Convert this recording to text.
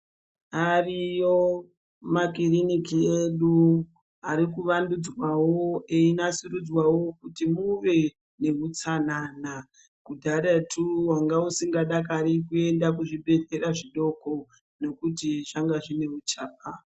Ariyo makiriniki edu arikuvandudzwawo einasiridzwawo kuti muve nehutsanana. Kudharatu wanga usingadakari kuenda kuzvibhedhlera zvidoko nekuti zvanga zvine huchapa